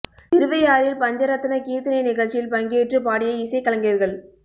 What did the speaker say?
திருவையாறில் பஞ்ச ரத்ன கீர்த்தனை நிகழ்ச்சியில் பங்கேற்று பாடிய இசைக் கலைஞர்கள்